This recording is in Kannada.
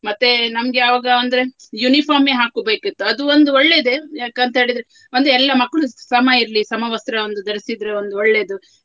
ಮತ್ತೆ ನಮ್ಗೆ ಯಾವಾಗ ಅಂದ್ರೆ uniform ಏ ಹಾಕೋಬೇಕಿತ್ತು ಅದು ಒಂದು ಒಳ್ಳೆಯದೇ ಯಾಕಂತ ಹೇಳಿದ್ರೆ ಒಂದು ಎಲ್ಲಾ ಮಕ್ಳು ಸಮ ಇರ್ಲಿ ಸಮವಸ್ತ್ರ ಒಂದು ಧರಿಸಿದ್ರೆ ಒಂದು ಒಳ್ಳೆಯದು.